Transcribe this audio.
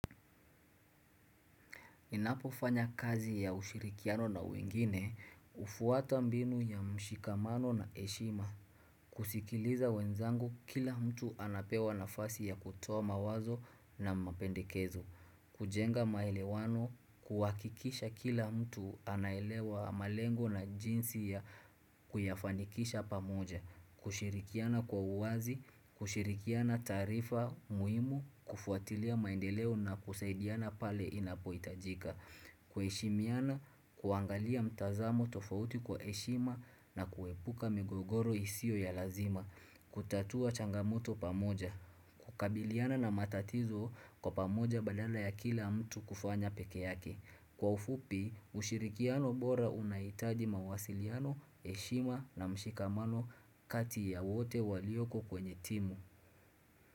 Ninapofanya kazi ya ushirikiano na wengine, hufuata mbinu ya mshikamano na eshima, kusikiliza wenzangu kila mtu anapewa nafasi ya kutoa mawazo na mapendekezo, kujenga maelewano, kuwahikikisha kila mtu anaelewa malengo na jinsi ya kuyafanikisha pamoja, kushirikiana kwa uwazi, kushirikiana taarifa muhimu, kufuatilia maendeleo na kusaidiana pale inapo hitajika. Kuheshimiana, kuangalia mtazamo tofauti kwa eshima na kuepuka migogoro isio ya lazima kutatua changamoto pamoja, kukabiliana na matatizo kwa pamoja badala ya kila mtu kufanya peke yake Kwa ufupi, ushirikiano bora unahitaji mawasiliano, eshima na mshikamano kati ya wote walioko kwenye timu.